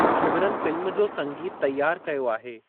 Ghibran film जो संगीतु तैयार कयो आहे।